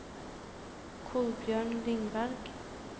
Kolbjørn Lindberg